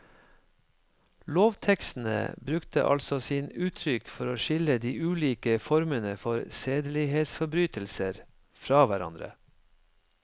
Lovtekstene brukte altså sine uttrykk for å skille de ulike formene for sedelighetsforbrytelser fra hverandre.